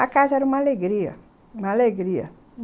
A casa era uma alegria, uma alegria.